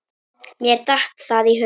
Mér datt það í hug.